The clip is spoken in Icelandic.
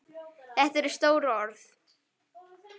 Þetta eru stór orð.